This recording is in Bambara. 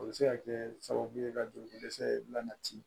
O bɛ se ka kɛ sababu ye ka joli dɛsɛ lati